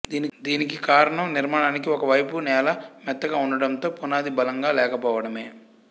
దీనికి కారణం నిర్మాణానికి ఒక వైపు నేల మెత్తగా ఉండటంతో పునాది బలంగా లేకపోవడమే